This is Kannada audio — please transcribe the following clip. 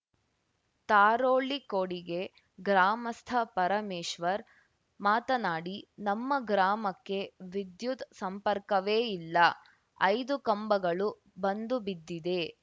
ತಾರೋಳ್ಳಿಕೊಡಿಗೆ ಗ್ರಾಮಸ್ಥ ಪರಮೇಶ್ವರ್‌ ಮಾತನಾಡಿ ನಮ್ಮ ಗ್ರಾಮಕ್ಕೆ ವಿದ್ಯುತ್‌ ಸಂಪರ್ಕವೇ ಇಲ್ಲ ಐದು ಕಂಬಗಳು ಬಂದುಬಿದ್ದಿವೆ